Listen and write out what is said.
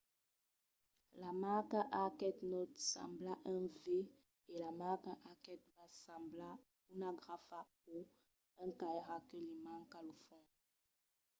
la marca arquet naut sembla un v e la marca arquet bas sembla una grafa o un cairat que li manca lo fons